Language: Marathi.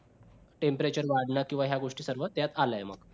tempreture वाढलं किंवा ह्या गोष्टी सर्व त्यात आलंय